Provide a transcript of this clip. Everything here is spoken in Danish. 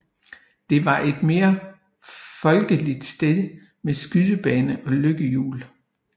Det var et mere folkeligt sted med skydebane og lykkehjul